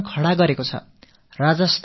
ராஜஸ்தானம் ஒரு பாலைவனப் பிரதேசம்